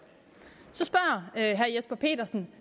så spørger herre jesper petersen